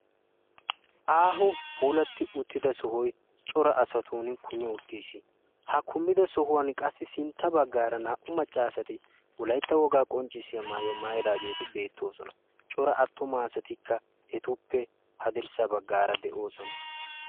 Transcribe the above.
aaho puulatti uttida sohoy cora asan kumi uttis. ha kumida sohuwan qassi sintta baggaara naa"u macca asati wolaytta wogaa mayuwa mayidaageeti beettoosona. cora attuma asatikka etuppe haddirssa baggaara de'oosona.